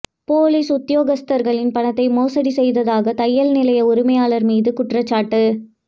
police உத்தியோகஸ்தர்களின் பணத்தை மோசடி செய்ததாக தையல் நிலைய உரிமையாளர் மீது குற்றச்சாட்டு